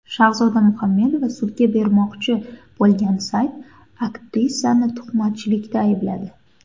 Shahzoda Muhamedova sudga bermoqchi bo‘lgan sayt aktrisani tuhmatchilikda aybladi.